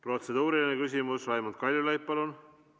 Protseduuriline küsimus, Raimond Kaljulaid, palun!